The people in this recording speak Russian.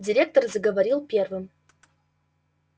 директор заговорил первым